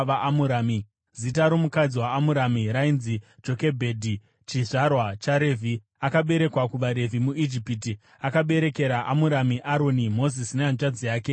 zita romukadzi waAmurami rainzi Jokebhedhi, chizvarwa chaRevhi, akaberekwa kuvaRevhi muIjipiti. Akaberekera Amurami Aroni, Mozisi nehanzvadzi yake Miriamu.